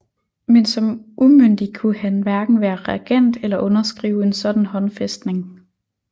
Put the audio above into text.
Men som umyndig kunne han hverken være regent eller underskrive en sådan håndfæstning